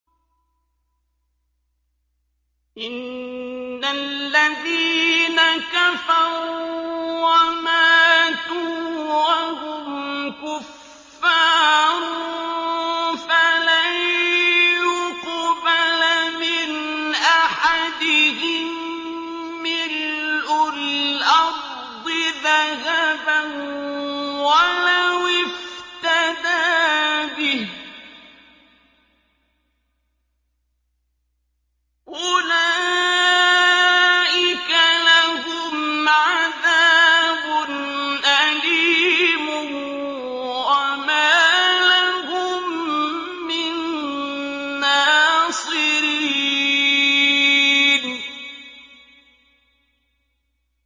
إِنَّ الَّذِينَ كَفَرُوا وَمَاتُوا وَهُمْ كُفَّارٌ فَلَن يُقْبَلَ مِنْ أَحَدِهِم مِّلْءُ الْأَرْضِ ذَهَبًا وَلَوِ افْتَدَىٰ بِهِ ۗ أُولَٰئِكَ لَهُمْ عَذَابٌ أَلِيمٌ وَمَا لَهُم مِّن نَّاصِرِينَ